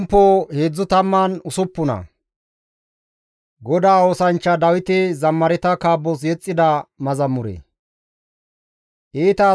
Iita asi ba wozinan gene qoppees; iza giddon Xoossas yashshateththi deenna.